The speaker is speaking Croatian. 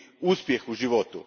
uspjeh u životu.